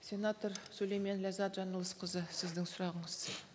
сенатор сүлеймен ләззат жаңылысқызы сіздің сұрағыңыз